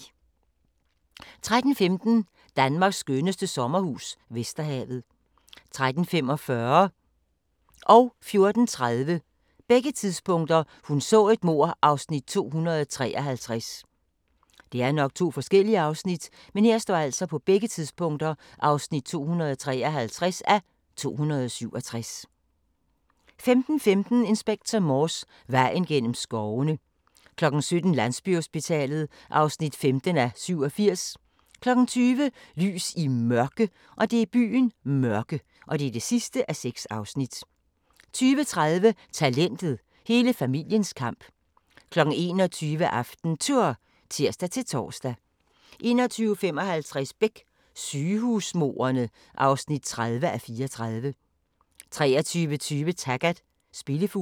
13:15: Danmarks skønneste sommerhus - Vesterhavet 13:45: Hun så et mord (253:267) 14:30: Hun så et mord (253:267) 15:15: Inspector Morse: Vejen gennem skovene 17:00: Landsbyhospitalet (15:87) 20:00: Lys i Mørke (6:6) 20:30: Talentet – hele familiens kamp 21:00: AftenTour (tir-tor) 21:55: Beck: Sygehusmordene (30:34) 23:20: Taggart: Spillefuglen